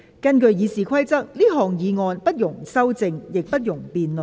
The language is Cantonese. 根據《議事規則》，這項議案不容修正，亦不容辯論。